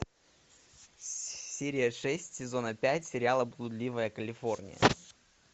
серия шесть сезона пять сериала блудливая калифорния